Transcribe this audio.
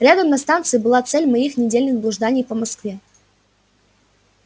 рядом на станции была цель моих недельных блужданий по москве